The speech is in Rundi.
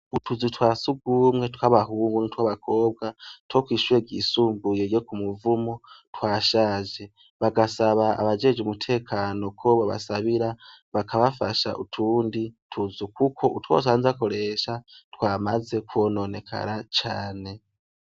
Utuzu twa sugumwe tw'abahungu n' tw'abakobwa two kw'ishure gisumbuye yo ku muvumo twashaje bagasaba abajeje umutekano ko babasabira bakabafasha utundi tuzu, kuko utwosanzeakoresha twamaze kwononekara cane.